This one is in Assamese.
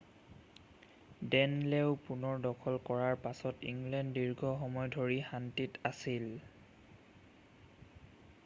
ডে'নলও পুনৰ দখল কৰাৰ পাছত ইংলেণ্ড দীৰ্ঘ সময় ধৰি শান্তিত আছিল